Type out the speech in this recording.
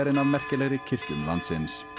ein af merkilegri kirkjum landsins